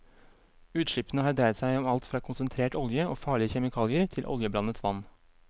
Utslippene har dreid seg om alt fra konsentrert olje og farlige kjemikalier, til oljeblandet vann.